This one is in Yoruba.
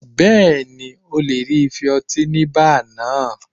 Bẹ́ẹ̀ni, ó lè rí ife ọtí ní báà náà.